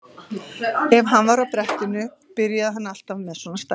Ef hann var á brettinu byrjaði hann alltaf með svona stæla.